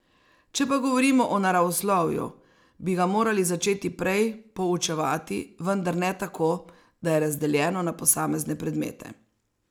Če pa govorimo o naravoslovju, bi ga morali začeti prej poučevati, vendar ne tako, da je razdeljeno na posamezne predmete.